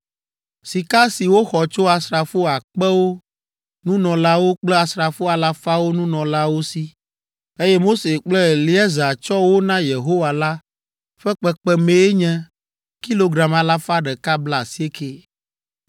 Sika si woxɔ tso asrafo akpewo nunɔlawo kple asrafo alafawo nunɔlawo si, eye Mose kple Eleazar tsɔ wo na Yehowa la ƒe kpekpemee nye kilogram alafa ɖeka blaasiekɛ (190).